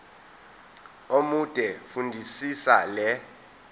omude fundisisa le